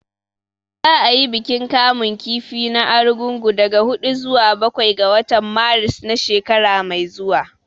Za a yi bikin kamun kifi na Argungu daga huɗu zuwa bakwai ga watan Maris na shekara mai zuwa